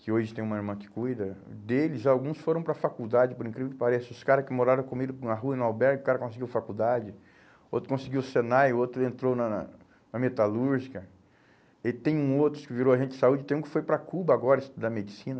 que hoje tem uma irmã que cuida, deles, alguns foram para a faculdade, por incrível que pareça, os caras que moraram comigo na rua, no albergue, o cara conseguiu faculdade, outro conseguiu o Senai, outro entrou na na na metalúrgica, e tem um outro que virou agente de saúde, tem um que foi para Cuba agora, estudar medicina,